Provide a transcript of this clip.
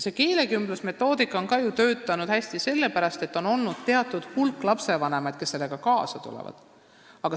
Ka keelekümbluse metoodika on ju sellepärast hästi töötanud, et teatud hulk lapsevanemaid on sellega kaasa tulnud.